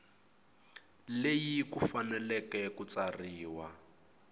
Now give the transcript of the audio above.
leyi ku fanele ku tsariwa